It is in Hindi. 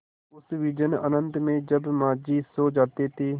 उस विजन अनंत में जब माँझी सो जाते थे